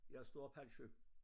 Jeg står op halv 7